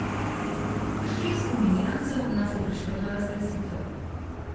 Šest nominirancev nas je prišlo na razglasitev.